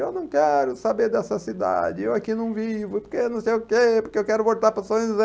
Eu não quero saber dessa cidade, eu aqui não vivo, porque não sei o quê, porque eu quero voltar para São José.